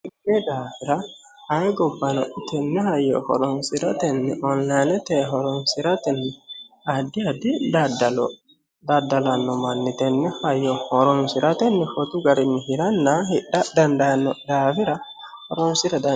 Tene daafira ane gobbano tene hayyo horonsiratenni onlinete hornosira addi addi daddallo daddalano manni tene hayyo horonsiratenni shotu garinni hiranna hidha dandaano daafira horonsira danchate.